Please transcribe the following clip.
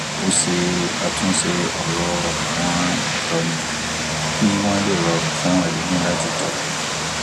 ó ṣe àtúnṣe òrò àwọn ìtóni kí wón lè rọrùn fún èlòmíì láti tọ